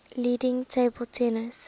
leading table tennis